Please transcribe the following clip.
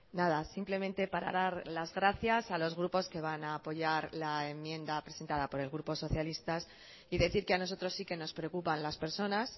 nada simplemente para dar las gracias a los grupos que van a apoyar la enmienda presentada por el grupo socialistas y decir que a nosotros sí que nos preocupan las personas